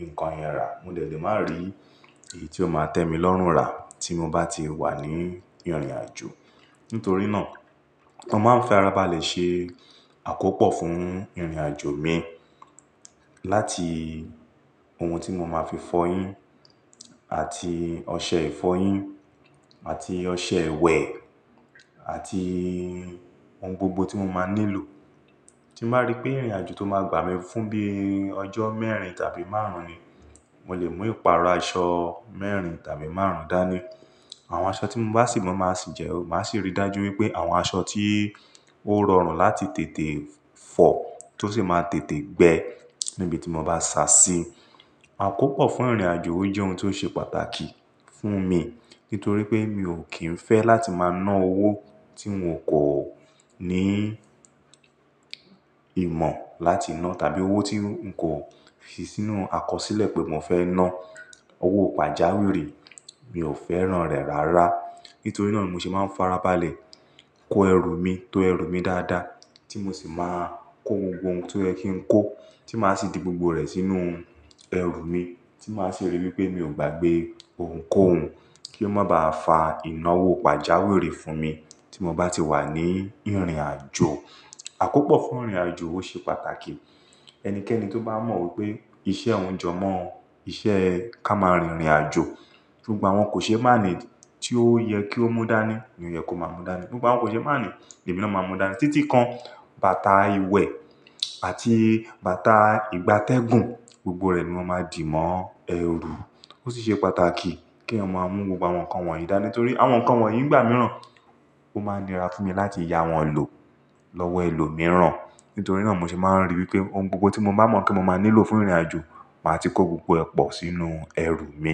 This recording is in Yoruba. nǹkan yẹn rà. Mo dẹ̀lẹ̀ má ri èyí tí ó máa tẹ́ mi lọ́run rà tí mo bá ti wà ní ìrìnàjò. Nítorí náà mo máa ń farabalẹ̀ ṣe àkópọ̀ fún ìrìnàjò mi láti ohun tí mo máa fi fọyín àti ọṣẹ ìfọyín àti ọṣẹ ìwẹ̀ àti ohun gbogbo tí mo máa nílò. Tí màá rí pé ìrìnàjò tó máa gbà mí fún bíi ọjọ́ mẹ́rin tàbí márùn-ún ni, mo lè mú ìpara aṣọ mẹ́rin tàbí márùn-ún dání. Àwọn aṣọ tí mo bá sì máa mu maa sì jẹ́, màá sì rí dájú wípé àwọn aṣọ tí ó rọrùn láti tètè fọ tó sì máa tètè gbẹ níbi tí mo bá sa sí. Àkópọ̀ fún ìrìnàjò ó jẹ́ ohun tí ó ṣe pàtàkì fún mi nítorí pé mi ò kín fẹ́ láti máa ná owó tí n kò ní ìmọ̀ láti ná tàbí owó tí n kò fi sínú àkọsílẹ̀ pé mo fẹ́ ná. Owó pàjáwìrì mi ò fẹ́ràn rẹ̀ rárá. Nítorí náà ni mo ṣé máa ń farabalẹ̀ kó ẹrù mi tó ẹrù mi dáadáa tí mo sì máa kó gbogbo ohun tí ó yẹ kí n kó tí màá sì di gbogbo rẹ̀ sínú ẹrù mi tí màá sì rí wípé mi ò gbàgbé ohunkóhun kí ó má bá fa ìnáwó pàjáwìrì fún mi tí mo bá ti wà ní ìrìnàjò. Àkópọ̀ fún ìrìnàjò ó ṣe pàtàkì. Ẹnikẹ́ni tó bá mọ wípé iṣẹ́ ohún jẹ mọ́ ọ, iṣẹ́ ká máa rin ìrìnàjò, gbogbo àwọn kò ṣe máàní tí ó yẹ kí ó mú dání ni ó yẹ kó má mú dání. Gbogbo àwọn kò ṣe máàní, èmi náà máa mú dání. Títí kan, bàtà ìwẹ̀ àti bàtà ìgbatẹ́gùn gbogbo rẹ̀ ni mo máa dì mọ́ ẹrù. Ó sì ṣe pàtàkì kí èèyàn maa mú gbogbo àwọn nǹkan wọ̀nyí dání torí àwọn nǹkan wọ̀nyí ìgbà mìíràn ó máa nira fún mi láti ya wọ́n lò lọ́wọ́ ẹlòmíràn. Nítorí náà mo ṣé máa ń rí wípé ohun gbogbo tí mo bá mọ̀ kí mo máa nílò fún ìrìnàjò, màá ti kó gbogbo ẹ pọ̀ sínú ẹrù mi.